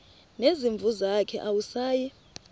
nezimvu zakhe awusayi